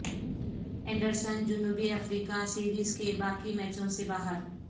Anderson جنوبی افریقہ series کے باقی میچوں سے باہر